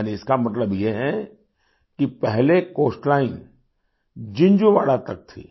यानि इसका मतलब ये है कि पहले कोस्टलाइन जिन्झुवाड़ा तक थी